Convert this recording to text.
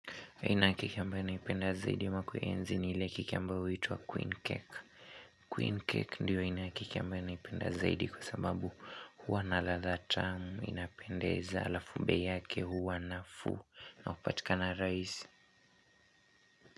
Aina ya keki ambayo naipenda zaidi ama kuienzi ni ile keki ambayo huituwa Queen Cake. Queen Cake ndiyo aina ya keki ambayo naipenda zaidi kwa sababu huwa na ladha tamu inapendeza halafu bei yake huwa nafuu na hupatika na rahisi.